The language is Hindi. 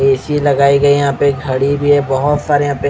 ए_सी लगाई गई है यहाँ पे घडी भी है बहोत सारे यहाँ पे--